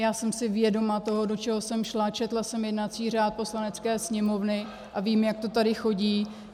Já jsem si vědoma toho, do čeho jsem šla, četla jsem jednací řád Poslanecké sněmovny a vím, jak to tady chodí.